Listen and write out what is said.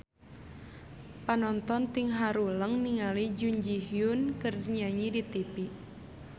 Panonton ting haruleng ningali Jun Ji Hyun keur nyanyi di tipi